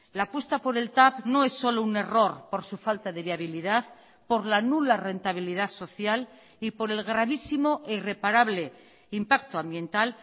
la apuesta por el tav no es solo un error por su falta de viabilidad por la nula rentabilidad social y por el gravísimo e irreparable impacto ambiental